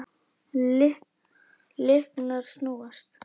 Lyklar snúast.